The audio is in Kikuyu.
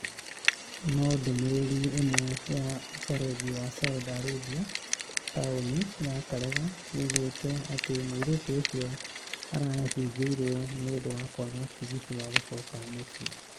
No ndũmĩrĩri ĩmwe ya ũbaruthi wa Saudi Arabia taũni ya karega yoigĩte atĩ mũirĩtu ũcio arahingĩirio nĩ ũndũ wa kwaga tigiti wa gũcoka mũciĩ.